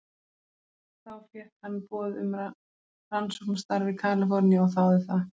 Þá fékk hann boð um rannsóknarstarf í Kalíforníu og þáði það.